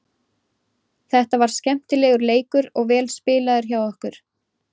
Þetta var skemmtilegur leikur og vel spilaður hjá okkur.